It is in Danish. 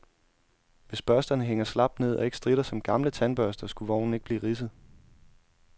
Hvis børsterne hænger slapt ned og ikke stritter som gamle tandbørster, skulle vognen ikke blive ridset.